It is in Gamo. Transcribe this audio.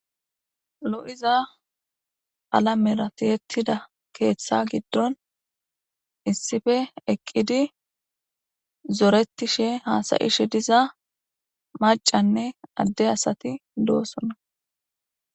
lo'iza qalamera tiyetida keeththa giddon issife eqqidi zoretishe haasa'ishe diza macanne adde asati doosona